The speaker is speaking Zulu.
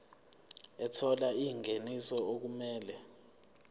ethola ingeniso okumele